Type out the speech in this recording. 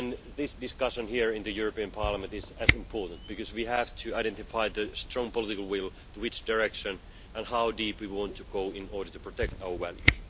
This discussion here in the European Parliament is as important, because we have to identify the strong political will, in which direction, and how deep we want to go in order to protect our values.